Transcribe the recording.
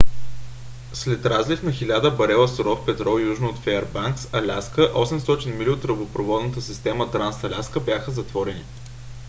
след разлив на хиляди барела суров петрол южно от феърбанкс аляска 800 мили от тръбопроводната система транс-аляска бяха затворени